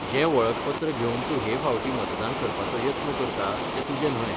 जें वळखपत्र घेवन तूं हे फावटी मतदान करपाचो यत्न करता तें तुजें न्हय.